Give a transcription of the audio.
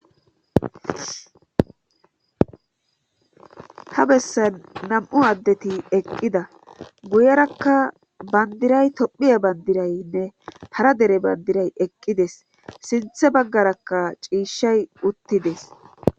ta bessan nam7u addeti eqqida guyerakka bandiray tophiya bandiraynne tara dere bandiray eqqides sinthe baggarakka ciishay uttides